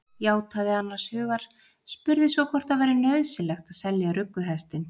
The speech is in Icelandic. Játaði annars hugar, spurði svo hvort það væri nauðsynlegt að selja rugguhestinn.